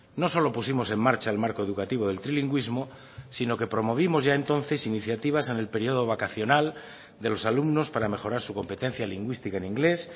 no solo pusimos en marcha el marco educativo del trilingüísmo sino que promovimos ya entonces iniciativas en el periodo vacacional de los alumnos para mejorar su competencia lingüística en inglés